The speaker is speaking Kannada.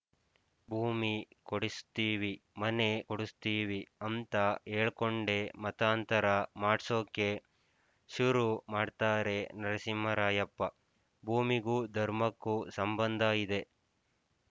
ಭೂಮಿ ಕೊಡುಸ್ತೀವಿ ಮನೆ ಕೊಡುಸ್ತೀವಿ ಅಂತ ಹೇಳ್ಕೊಂಡೇ ಮತಾಂತರ ಮಾಡ್ಸೋಕೆ ಶುರು ಮಾಡ್ತಾರೆ ನರಸಿಂಹರಾಯಪ್ಪ ಭೂಮಿಗೂ ಧರ್ಮಕ್ಕೂ ಸಂಬಂಧ ಇದೆ